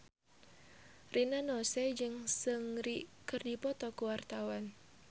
Rina Nose jeung Seungri keur dipoto ku wartawan